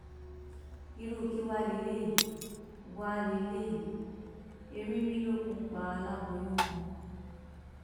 irú kí wàá lélẹyìí wàá lélẹyìí ẹrínmìlókun pa aláboyún kan